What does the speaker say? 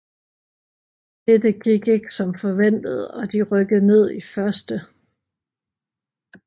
Dette gik ikke som forventet og de rykkede ned i 1